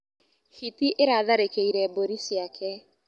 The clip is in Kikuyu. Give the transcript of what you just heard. Hiti ĩratharĩkĩire mbũri ciake.